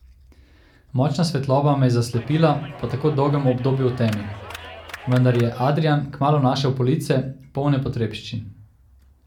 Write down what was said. Močna svetloba me je zaslepila po tako dolgem obdobju v temi, vendar je Adrijan kmalu našel police, polne potrebščin.